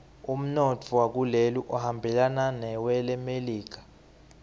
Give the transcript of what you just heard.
umnotfo wakuleli uhambelana newelemelika